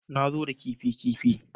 Na zo da kifi kifi